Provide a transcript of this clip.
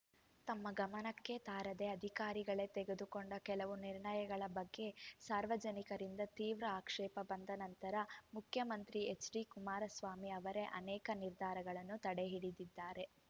ತಮ್ಮ ಗಮನಕ್ಕೆ ತಾರದೆ ಅಧಿಕಾರಿಗಳೇ ತೆಗೆದುಕೊಂಡ ಕೆಲವು ನಿರ್ಣಯಗಳ ಬಗ್ಗೆ ಸಾರ್ವಜನಿಕರಿಂದ ತೀವ್ರ ಆಕ್ಷೇಪ ಬಂದ ನಂತರ ಮುಖ್ಯಮಂತ್ರಿ ಎಚ್‌ಡಿ ಕುಮಾರಸ್ವಾಮಿ ಅವರೇ ಅನೇಕ ನಿರ್ಧಾರಗಳನ್ನು ತಡೆಹಿಡಿದಿದ್ದಾರೆ